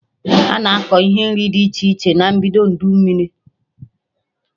Ana akọ ihe nri dị iche iche na mbido udu mmiri